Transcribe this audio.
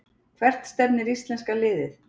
Hvert stefnir íslenska liðið